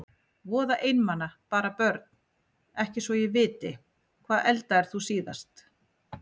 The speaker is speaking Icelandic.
Voða einmana bara Börn: Ekki svo ég viti Hvað eldaðir þú síðast?